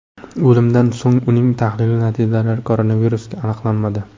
O‘limidan so‘ng uning tahlil natijalarida koronavirus aniqlanmadi .